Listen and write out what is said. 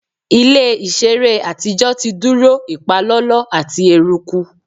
Ile iṣere atijọ ti duro ipalọlọ ati eruku